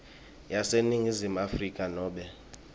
yaseningizimu afrika nobe